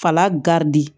Fala garidi